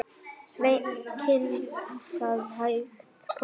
Sveinn kinkaði hægt kolli.